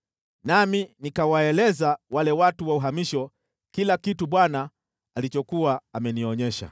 nami nikawaeleza wale watu wa uhamisho kila kitu Bwana alichokuwa amenionyesha.